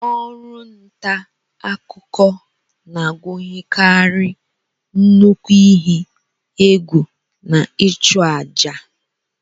Ọrụ nta akụkọ na-agụnyekarị nnukwu ihe egwù na ịchụ àjà.